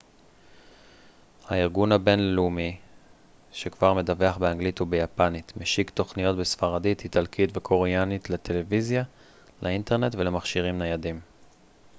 הארגון הבינלאומי שכבר מדווח באנגלית וביפנית משיק תוכניות בספרדית איטלקית וקוריאנית לטלוויזיה לאינטרנט ולמכשירים ניידים